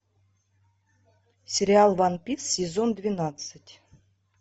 сериал ван пис сезон двенадцать